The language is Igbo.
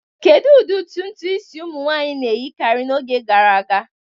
Kedu ụdị ntutu isi ụmụ nwanyị na-eyikarị n'oge gara aga?